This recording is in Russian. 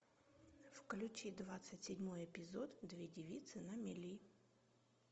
включи двадцать седьмой эпизод две девицы на мели